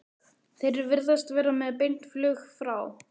Þeir virðast vera með beint flug frá